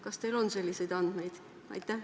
Kas teil on selliseid andmeid?